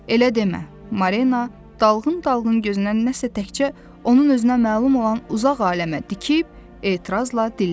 Elə demə, Marina, dalğın-dalğın gözünü nəsə təkcə onun özünə məlum olan uzaq aləmə dikib etirazla dilləndi.